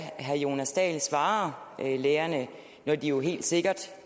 herre jonas dahl svarer lærerne når de jo helt sikkert